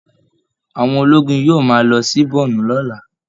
Àwọn ológun yóò máa lọ sí borno lọ́la